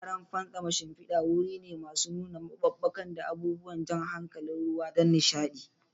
Wuraren fantsama shimfidar wuri ne masu nuna maɓuɓɓuka da abubuwan jan hankali na ruwa don nishaɗi.